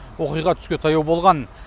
оқиға түске таяу болған